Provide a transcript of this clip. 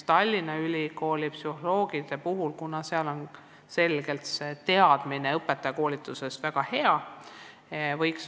Tallinna Ülikooli psühholoogide koolituses on teadmine tööst koolis väga hea.